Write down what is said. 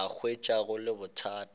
a hwetša go le bothata